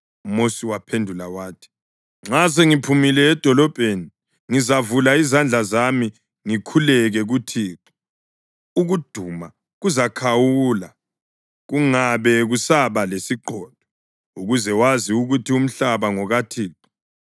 UMosi waphendula wathi. “Nxa sengiphumile edolobheni ngizavula izandla zami ngikhuleke kuThixo. Ukuduma kuzakhawula kungabe kusaba lesiqhotho, ukuze wazi ukuthi umhlaba ngokaThixo.